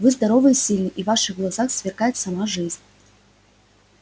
вы здоровый и сильный и в ваших глазах сверкает сама жизнь